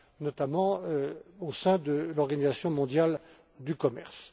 notamment au sein de l'Organisation mondiale du commerce.